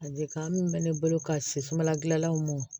A dekan min bɛ ne bolo ka si sumanla gilanlaw mɔ